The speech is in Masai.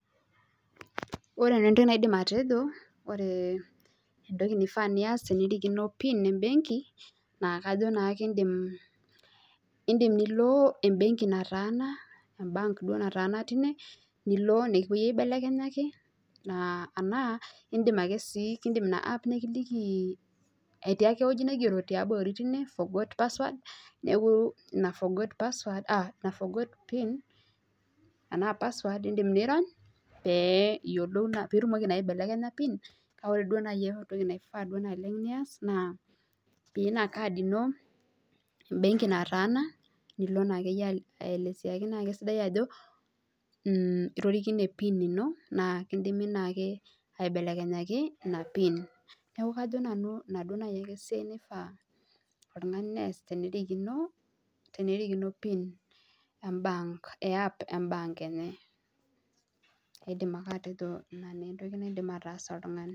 Ore nanu entoki naidim atejo, ore entoki naifaa niyasie tenirikino pin e benki naa kajo naa idim nilo ebenki nataanam e bank duo naatana teine nikipuo aibelekenyaki, enaa idim ake sii ina app nikiliki atiaki ewueji nigero yiabori tine forgot password. neeku ina forgot pin. enaa password idim nirony pee iyiolou naa idim aibelekenya pin kake ore entoku duo naaji, naifaa naleng nias, naa pee iya Ina card ino ebenki natana nilo naa akeyie aeleseki naa ajo itorikine pin ino naa ekeidimi aibelekenyaki. ina pin eeku kajo nanu Ina ake esiai nifaa nees oltungani tenirikino. pin enye. ina naa idim neees oltungani.